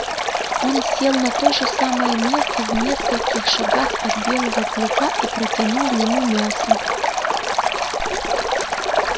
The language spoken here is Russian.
он сел на то же самое место в нескольких шагах от белого клыка и протянул ему мясо